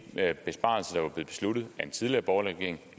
besparelser der blev besluttet af en tidligere borgerlig regering